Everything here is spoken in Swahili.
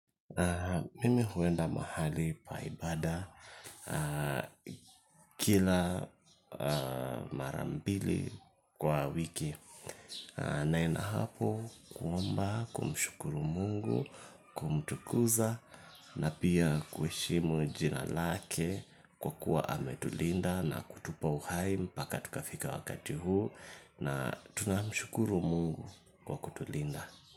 Mimi huenda mahali pa ibada kila mara mbili kwa wiki naenda hapo kuomba kumshukuru mungu kumtukuza na pia kuheshimu jina lake kwa kuwa ametulinda na kutupa uhai mpaka tukafika wakati huu na tunamshukuru mungu kwa kutulinda.